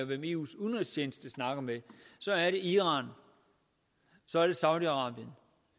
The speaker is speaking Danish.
hvem eus udenrigstjeneste snakker med så er det iran så er det saudi arabien